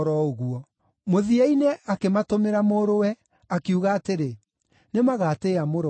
Mũthia-inĩ akĩmatũmĩra mũrũwe, akiuga atĩrĩ, ‘Nĩmagatĩĩa mũrũ wakwa.’